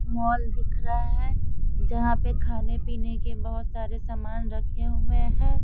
Mall दिख रहा है जहां पे खाने पिने के बहोत सारे सामान रखे हुए हैं।